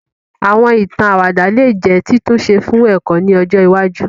Àwọn ìtàn àwàdà lè jẹ́ títúnṣe fún ẹ̀kọ́ ni ọjọ iwájú